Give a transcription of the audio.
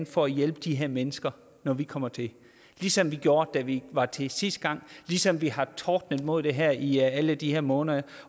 for at hjælpe de her mennesker når vi kommer til ligesom vi gjorde da vi var til sidste gang ligesom vi har tordnet imod det her i alle de her måneder